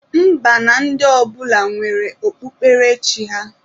Mba na ndị ọbụla nwere okpukperechi ha.